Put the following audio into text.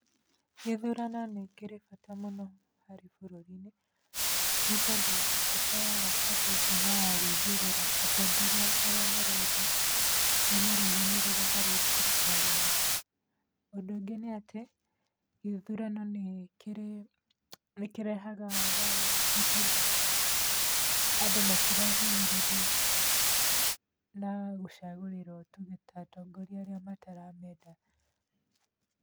Gĩthurano nĩkĩrĩĩ bata mũno, harĩ bũrũri-inĩ, nĩ tondũ nĩkĩheaga andũ hinya wa gwĩthurĩra atongoria arĩa marenda, mamarũgamĩrĩre harĩ thirikari-ĩnĩ. Ũndũ angĩ nĩ atĩ, gĩthurano nĩkĩrehaga thayũ nĩ tondũ andũ matirahinyĩrĩrio na gũcagũrĩrũo tu ta atongoria arĩa mataramenda.